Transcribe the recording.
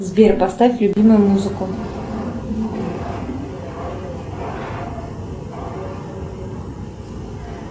сбер поставь любимую музыку